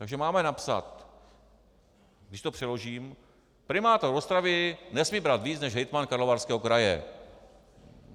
Takže máme napsat, když to přeložím: primátor Ostravy nesmí brát více než hejtman Karlovarského kraje.